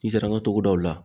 N'i sera an ka togodaw la